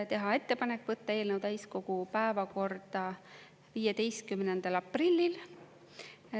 Teha ettepanek võtta eelnõu täiskogu päevakorda 15. aprillil.